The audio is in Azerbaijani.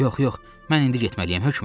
Yox, yox, mən indi getməliyəm hökmən.